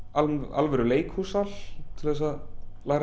alvöru leikhússal til að